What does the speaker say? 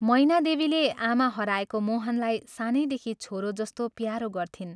मैनादेवीले आमा हराएको मोहनलाई सानैदेखि छोरो जस्तो प्यारो गर्थिन्।